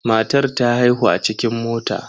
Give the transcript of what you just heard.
Matar ta haihu a cikin mota.